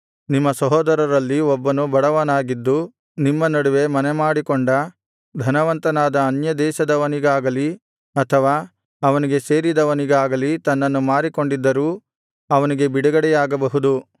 ನಿಮ್ಮ ಸಹೋದರರಲ್ಲಿ ಒಬ್ಬನು ಬಡವನಾಗಿದ್ದು ನಿಮ್ಮ ನಡುವೆ ಮನೆಮಾಡಿಕೊಂಡ ಧನವಂತನಾದ ಅನ್ಯದೇಶದವನಿಗಾಗಲಿ ಅಥವಾ ಅವನಿಗೆ ಸೇರಿದವನಿಗಾಗಲಿ ತನ್ನನ್ನು ಮಾರಿಕೊಂಡಿದ್ದರೂ ಅವನಿಗೆ ಬಿಡುಗಡೆಯಾಗಬಹುದು